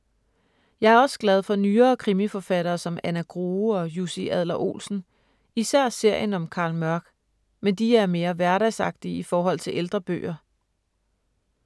Jeg er også glad for nyere krimiforfattere som Anna Grue og Jussi Adler-Olsen, især serien om Carl Mørck, men de er mere hverdagsagtige i forhold til ældre bøger.